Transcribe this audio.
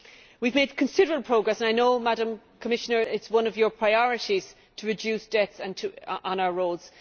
We have made considerable progress and I know, Madam Commissioner, it is one of your priorities to reduce deaths on our roads.